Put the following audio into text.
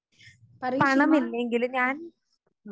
പണമില്ലെങ്കില് ഞാൻ